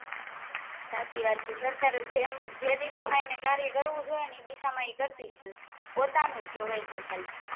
સાચી વાત છે સરકાર જે દિશા માં એમને કાર્ય કરવું જોઈએ એ દિશા માં એકારતી જ નથી પોતાનુજ જોવે છે ખાલી